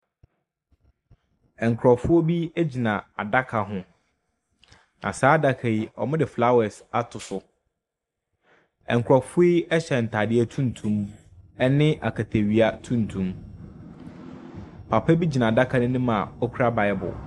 Ɛnkrɔfo bi egyina adaka hu na saa adaka yi, ɔmudi flawɛs ato so. Ɛnkrɔfuɔ yi ɛhyɛ ntaadi tuntum ɛne aketewia tuntum. Papa bi gyina adaka no ɛnim a okura baibu.